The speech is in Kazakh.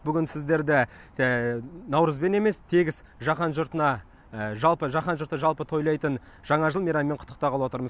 бүгін сіздерді наурызбен емес тегіс жаһан жұртына жалпы жаһан жұрты жалпы тойлайтын жаңа жыл мейрамымен құттықтағалы отырмын